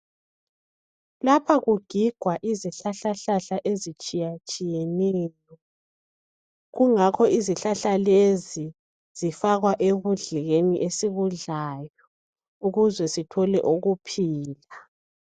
Lapha kugigwa izihlahlahlahla ezitshiyatshiyeneyo, kungakho izihlahla lezi zifakwa ekudleni esikudlayo ukuze sithole ukuphila.